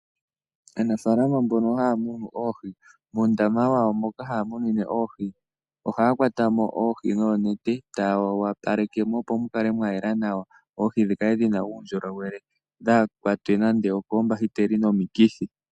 Aanafalama mbono haya munu oohi moondama dhawo moka haya munine oohi ohaya kwatamo oohi noonete taya wapalekemo opo mukala mwayela nawa oohi dhikale dhina uunjolowele dhaakwatwe nande okombahiteli nenge komikithi.